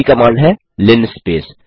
पहली कमांड है लिनस्पेस